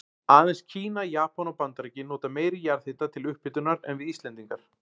Aðeins Kína, Japan og Bandaríkin nota meiri jarðhita til upphitunar en við Íslendingar.